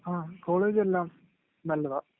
ങാ..കോളേജെല്ലാം നല്ലതാ..